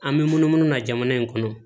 An bɛ munumunu na jamana in kɔnɔ